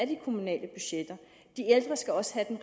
de kommunale budgetter de ældre skal også have den